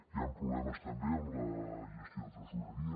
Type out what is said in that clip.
hi han problemes també en la gestió de tresoreria